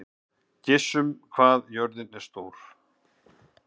Gissunn, hvað er jörðin stór?